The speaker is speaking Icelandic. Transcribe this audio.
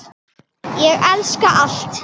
Ég elska allt.